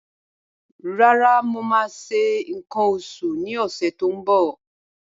Rárá, mo máa ṣe nǹkan oṣù ní ọ̀sẹ̀ tó ń bọ̀.